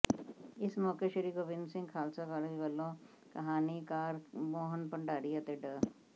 ਇਸ ਮੌਕੇ ਸ੍ਰੀ ਗੋਬਿੰਦ ਸਿੰਘ ਖਾਲਸਾ ਕਾਲਜ ਵੱਲੋਂ ਕਹਾਣੀਕਾਰ ਮੋਹਨ ਭੰਡਾਰੀ ਅਤੇ ਡਾ